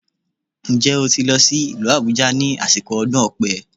Ǹjẹ́ o ti lọ sí ìlú Àbújá ní àsìkò ọdún Ọ̀pẹ